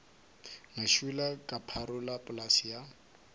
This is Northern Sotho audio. ngašula ka pharola polase ya